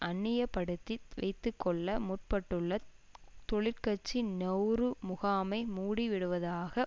அந்நியப்படுத்தி வைத்து கொள்ள முற்பட்டுள்ள தொழிற்கட்சி நெளரு முகாமை மூடிவிடுவதாக